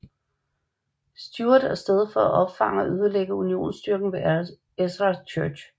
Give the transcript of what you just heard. Stewart af sted for at opfange og ødelægge unionsstyrken ved Ezra Church